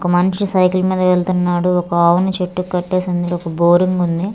ఒక మనిషి సైకిల్ మీద వెళ్తున్నాడు ఒక ఆవుని చెట్టుకి కట్టేసి ఉంది ఒక బోరింగ్ ఉంది.